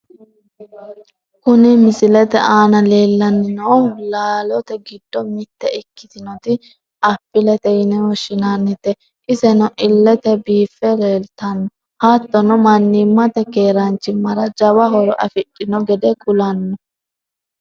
Kuni misilete aana lellanni noohu laalote giddo mitte ikkitinoti appilete yine woshshinanite, iseno illete biiffe leeltanno. hattono mannimmate keeraanchimmara jawa horo afidhino gede kullanni.